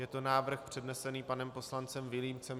Je to návrh přednesený panem poslancem Vilímcem.